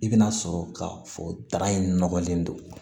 I bɛna sɔrɔ ka fɔ da in nɔgɔlen don